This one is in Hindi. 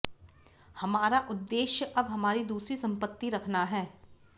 हमारा उद्देश्य अब हमारी दूसरी संपत्ति रखना है